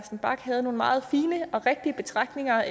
bach havde nogle meget fine og rigtige betragtninger